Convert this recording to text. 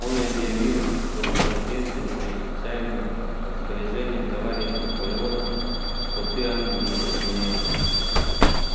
он объявил что в соответствии со специальным распоряжением товарища наполеона скоты англии отменяются